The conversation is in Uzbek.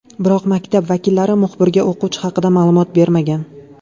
Biroq maktab vakillari muxbirga o‘quvchi haqida ma’lumot bermagan.